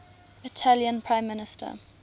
italian prime minister